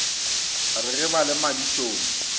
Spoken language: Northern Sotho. re ge ba le madišong